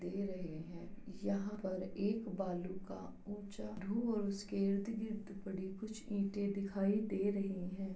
दे रहे हैं। यहाँ पर एक बालू का ऊँचा ढो और उसके इर्द-गिर्द टुकड़ी कुछ ईंटें दिखाई दे रहे हैं।